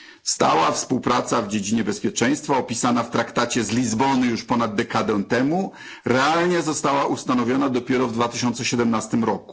Stała współpraca w dziedzinie bezpieczeństwa opisana w Traktacie z Lizbony już ponad dekadę temu realnie została ustanowiona dopiero w 2017 r.